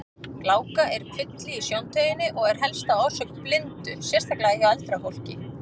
Gláka er kvilli í sjóntauginni og er helsta orsök blindu, sérstaklega hjá eldra fólki.